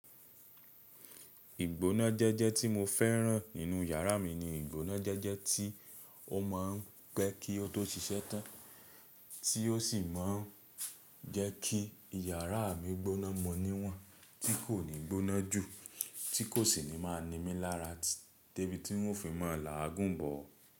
Ìgbóná jẹ́jẹ́ tí mo fẹ́ràn nínú yàrá mi ni ìgbóná jẹ́jẹ́ tí ó ma ń pẹ́ kí ó tó ṣíṣẹ́ tán, tí ó sì má ń jẹ́ kí yàrá mi gbóná mọ́ níwọ̀n, tí kò ní gbóná jù, tí kò sì ní máa nimí lára débi tí n o fi máa làágùn bọ̀.